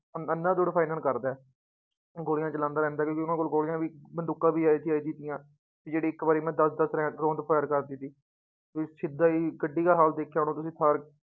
ਅੰਨਾਧੁੰਦ firing ਕਰਦਾ ਹੈ, ਗੋਲੀਆਂ ਚਲਾਉਂਦਾ ਰਹਿੰਦਾ ਕਿਉਂਕਿ ਉਹਨਾਂ ਕੋਲ ਗੋਲੀਆਂ ਵੀ ਬੰਦੂਕਾਂ ਵੀ ਕਿ ਜਿਹੜੀ ਇੱਕ ਵਾਰੀ ਮੇ ਦਸ ਦਸ ਰੈਂ ਰੋਂਦ fire ਕਰਦੀ ਸੀ, ਵੀ ਸਿੱਧਾ ਹੀ ਗੱਡੀ ਕਾ ਹਾਲ ਦੇਖਿਆ ਹੋਣਾ ਤੁਸੀਂ